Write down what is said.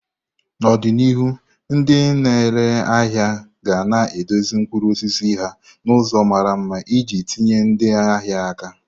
N'ọdịnihu, ndị na-ere ahịa ga na edozi mkpụrụ osisi ha n'ụzọ mara mma iji tinye ndị ahịa aka.